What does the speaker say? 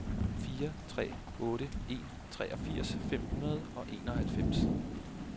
fire tre otte en treogfirs fem hundrede og enoghalvfems